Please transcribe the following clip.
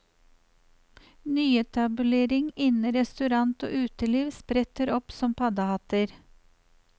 Nyetableringer innen restaurant og uteliv spretter opp som paddehatter.